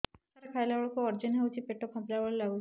ସାର ଖାଇଲା ବେଳକୁ ଅଜିର୍ଣ ହେଉଛି ପେଟ ଫାମ୍ପିଲା ଭଳି ଲଗୁଛି